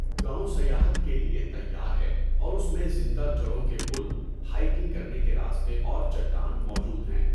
گاؤں سیاحت کے لیے تیار ہے اور اس میں زندہ جڑوں کے پل، ہائکنگ کرنے کے راستے اور چٹان موجود ہیں۔